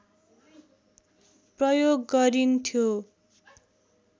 प्रयोग गरिन्थ्यो